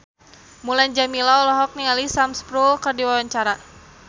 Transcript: Mulan Jameela olohok ningali Sam Spruell keur diwawancara